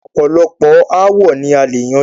ọ̀pọ̀lọpọ̀ aàwo ni a lè yanjú.